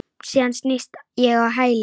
Síðan snýst ég á hæli.